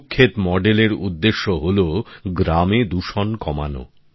সুক্ষেত মডেলের উদ্দেশ্য হলো গ্রামে দূষণ কমানো